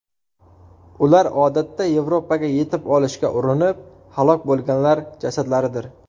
Ular odatda Yevropaga yetib olishga urinib halok bo‘lganlar jasadlaridir.